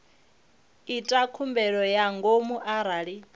ita khumbelo ya ngomu arali